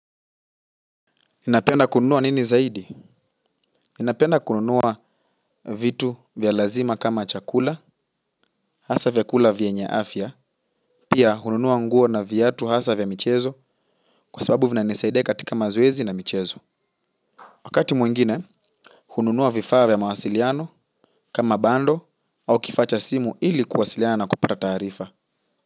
Napenda kununua nini zaidi? Napenda kununua vitu vya lazima kama chakula, hasa vyakula vyenye afya, pia hununua nguo na viatu hasa vya michezo kwa sababu vinanisaidia katika mazoezi na michezo. Wakati mwingine, hununua vifaa vya mawasiliano kama bundle ama kifaa cha simu ili kuwasiliana na kupata taarifa.